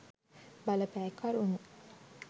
බලපෑ කරුණු